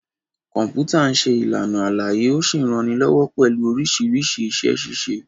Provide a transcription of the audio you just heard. Kọ̀m̀pútà ń ṣe Ìlàna àlàyé ó sì ń ranilọ́wọ́ pẹ̀lú oríṣiríṣi iṣẹ-ṣíṣe